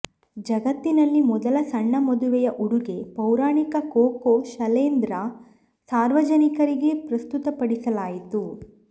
ಜಗತ್ತಿನಲ್ಲಿ ಮೊದಲ ಸಣ್ಣ ಮದುವೆಯ ಉಡುಗೆ ಪೌರಾಣಿಕ ಕೊಕೊ ಶನೆಲ್ರಿಂದ ಸಾರ್ವಜನಿಕರಿಗೆ ಪ್ರಸ್ತುತಪಡಿಸಲಾಯಿತು